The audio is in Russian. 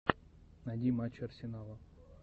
найди матчи арсенала